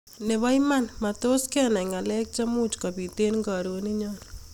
Nebo iman, matos kenai ngalek chemuch kobit eng karoninyo